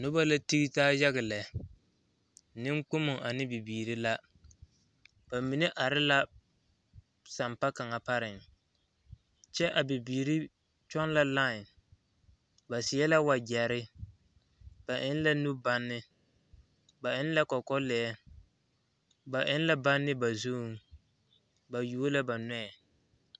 Noba la tige taa yaga lɛ neŋkpommo ane bibiiri la ba mine are la sampa kaŋa pareŋ kyɛ a bibiiri kyɔŋ la lae ba seɛ la wagyɛre ba eŋ la nu banne ba eŋ kɔkɔlɛɛ ba eŋ la banne ba zuŋ ba yuo la ba nɔɛ.